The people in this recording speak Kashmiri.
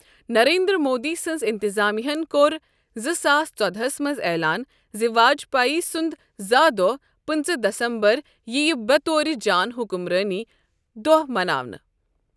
نریندر مودی سنٛز انتظامیہ ہَن کوٚر زٕ ساس ژۄدہَس منٛز اعلان زِ واجپایی سنٛد زا دۄہ، پنژٕہ دسمبر یِیہٕ بےٚ طورِ جان حکمرٲنی دۄہہ مناونہٕ۔